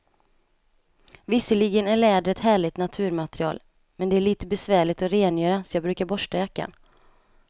Visserligen är läder ett härligt naturmaterial, men det är lite besvärligt att rengöra, så jag brukar borsta jackan.